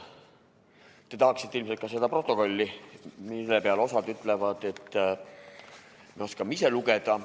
Te tahaksite ilmselt ka seda protokolli tutvustust kuulda, mille peale mõned ütlevad, et me oskame ise lugeda.